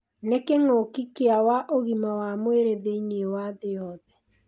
Nĩ kĩng'ũki kĩa wa ũgima wa mwĩrĩ thĩinĩ wa thĩ yothe.